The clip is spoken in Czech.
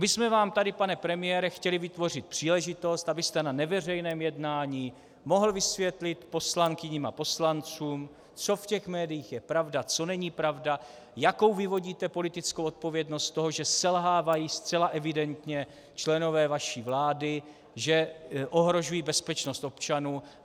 My jsme vám tady, pane premiére, chtěli vytvořit příležitost, abyste na neveřejném jednání mohl vysvětlit poslankyním a poslancům, co v těch médiích je pravda, co není pravda, jakou vyvodíte politickou odpovědnost z toho, že selhávají zcela evidentně členové vaší vlády, že ohrožují bezpečnost občanů.